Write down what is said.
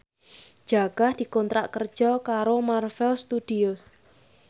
Jaka dikontrak kerja karo Marvel Studios